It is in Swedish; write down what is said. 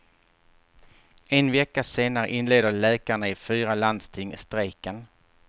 En vecka senare inleder läkarna i fyra landsting strejken.